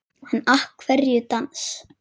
En af hverju dans?